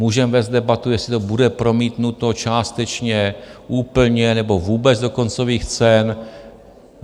Můžeme vést debatu, jestli to bude promítnuto částečně, úplně nebo vůbec do koncových cen.